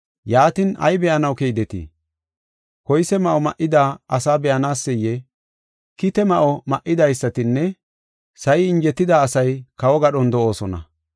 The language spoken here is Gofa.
Yaatin, ay be7anaw keydetii? Koyse ma7o ma7ida asaa be7anaseyee? Koyse ma7o ma7idaysatinne sa7i injetida asay kawo gadhon de7oosona.